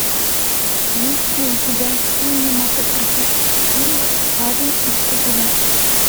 есть ли у тебя кинематографический фильм парень из пузыря